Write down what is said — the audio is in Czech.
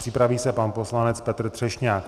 Připraví se pan poslanec Petr Třešňák.